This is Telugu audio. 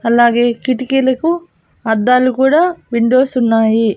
అలాగే కిటికీలకు అద్దాలు కూడా విండోర్స్ ఉన్నాయి.